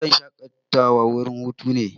Wuraren shakatawa wurin hutu ne.